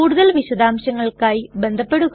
കൂടുതൽ വിശദംശങ്ങൾക്കായി ബന്ധപെടുക